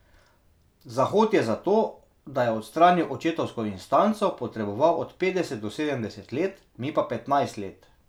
Zahod je za to, da je odstranil očetovsko instanco, potreboval od petdeset do sedemdeset let, mi pa petnajst let.